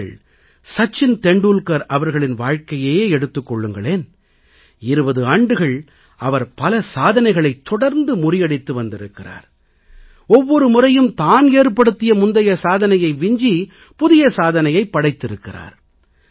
நீங்கள் சச்சின் தெண்டுல்கர் அவர்களின் வாழ்க்கையையே எடுத்துக் கொள்ளுங்களேன் 20 ஆண்டுகள் அவர் பல சாதனைகளைத் தொடர்ந்து முறியடித்து வந்திருக்கிறார் ஒவ்வொரு முறையும் தான் ஏற்படுத்திய முந்தைய சாதனையை விஞ்சி புதிய சாதனையைப் படைத்திருக்கிறார்